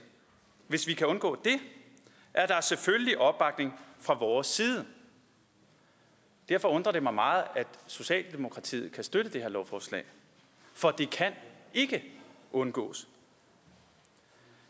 hvis vi kan undgå det er der selvfølgelig opbakning fra vores side derfor undrer det mig meget at socialdemokratiet kan støtte det her lovforslag for det kan ikke undgås